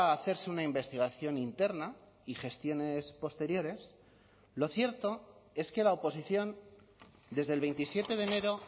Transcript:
hacerse una investigación interna y gestiones posteriores lo cierto es que la oposición desde el veintisiete de enero